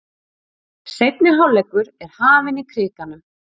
Seinni hálfleikur er hafinn í Krikanum